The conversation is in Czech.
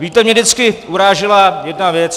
Víte, mě vždycky urážela jedna věc.